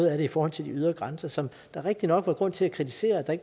i forhold til de ydre grænser som der rigtignok var grund til at kritisere at der